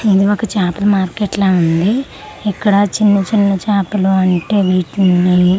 ఇది ఒక చేపల మార్కెట్ లా ఉంది ఇక్కడ చిన్న చిన్న చేపలు అంటే వీటిని.